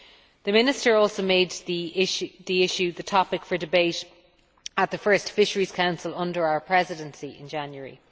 The Minister also made the issue the topic for debate at the first Fisheries Council under our Presidency in January.